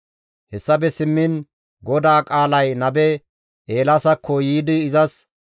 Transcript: Hessafe simmiin GODAA qaalay nabe Eelaasakko yiidi izas,